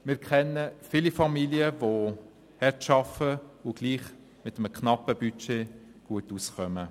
Wir kennen viele Familien, die hart arbeiten und trotzdem mit einem knappen Budget gut auskommen.